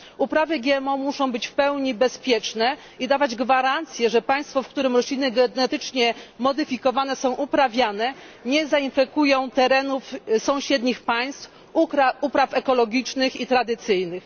Uprawy GMO muszą być w pełni bezpieczne i dawać gwarancję, że państwo, w którym rośliny genetycznie modyfikowane są uprawiane, nie zainfekują terenów sąsiednich państw, upraw ekologicznych i tradycyjnych.